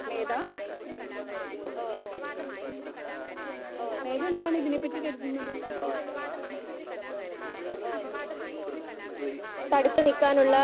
Speaker 2 മേത മേത എന്താണ് ഇതിനെ പറ്റി കരുതുന്നത്? ആ